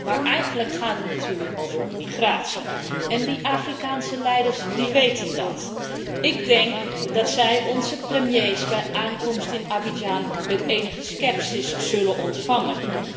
Maar eigenlijk gaat het natuurlijk over migratie en de Afrikaanse leiders weten dat. Ik denk dat zij onze premiers bij aankomst in Abidjan met enige scepsis zullen ontvangen.